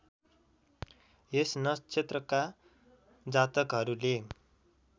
यस नक्षत्रका जातकहरूले